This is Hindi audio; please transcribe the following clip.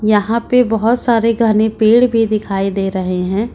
यहां पे बहोत सारे घने पेड़ भी दिखाई दे रहे हैं।